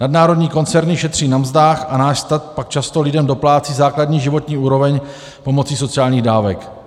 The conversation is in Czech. Nadnárodní koncerny šetří na mzdách a náš stát pak často lidem doplácí základní životní úroveň pomocí sociálních dávek.